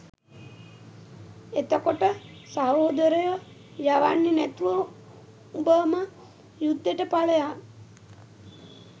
එතකොට සහොදරයො යවන්නෙ නැතුව උඹම යුද්දෙට පලයන්